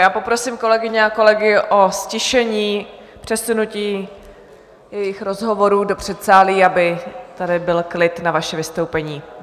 Já poprosím kolegyně a kolegy o ztišení, přesunutí jejich rozhovorů do předsálí, aby tady byl klid na vaše vystoupení.